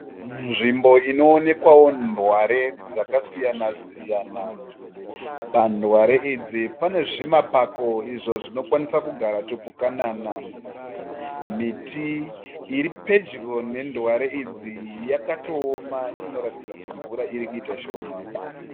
Nzvimbo inoonekwawo ndware dzakasiyana siyana. Pandware idzi pane zvimapako izvo zvinokwanisa kugara tupukanana. Miti iri pedyo nendware idzi yakatooma inokuratidza kuti mvura iri kuita shoma.